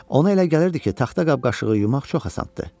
Ona elə gəlirdi ki, taxta qab-qaşığı yumaq çox asandır.